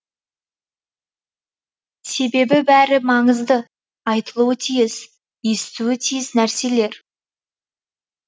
себебі бәрі маңызды айтылуы тиіс естуі тиіс нәрселер